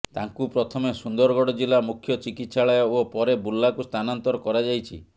ତାଙ୍କୁ ପ୍ରଥମେ ସୁନ୍ଦରଗଡ଼ ଜିଲ୍ଲା ମୁଖ୍ୟ ଚିକିତ୍ସାଳୟ ଓ ପରେ ବୁର୍ଲାକୁ ସ୍ଥାନାନ୍ତର କରାଯାଇଛି